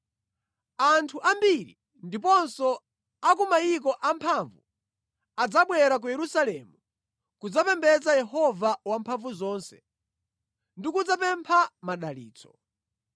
Anthu ambiri ndiponso a ku mayiko amphamvu adzabwera ku Yerusalemu kudzapembedza Yehova Wamphamvuzonse ndi kudzapempha madalitso.”